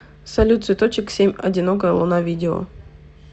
салют цветочек семь одинокая луна видео